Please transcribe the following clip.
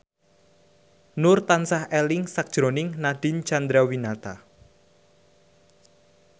Nur tansah eling sakjroning Nadine Chandrawinata